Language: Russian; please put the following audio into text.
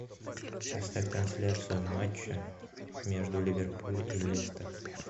поставь трансляцию матча между ливерпуль и лестер